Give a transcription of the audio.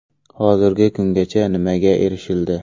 Hozirgi kungacha nimaga erishildi?